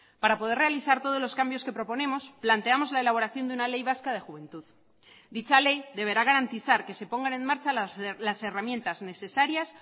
para poder realizar todos los cambios que proponemos planteamos la elaboración de una ley vasca de juventud dicha ley deberá garantizar que se pongan en marcha las herramientas necesarias